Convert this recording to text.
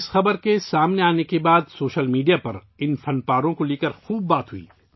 اس خبر کے منظر عام پر آنے کے بعد سوشل میڈیا پر ، ان نوادرات کا خوب چرچا ہوا